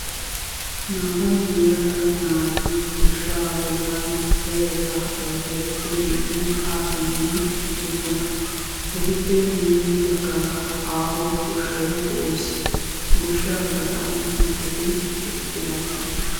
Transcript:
naa"u yelage naati goshshaa bollan zerettaa ayifiya zeriiddi haa simmidi eqqidosona. etuppe guyye baggaara aaho goshshay de'es. goshshaa gaxan mittati eqqidaageeti doosona.